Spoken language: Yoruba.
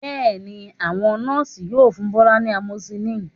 Bẹ́ẹ̀ ni, àwọn Nọ́ọ̀sì yóò fún Bọ́lá ní amoxicillin